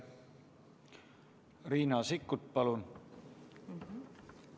Riina Sikkut, palun!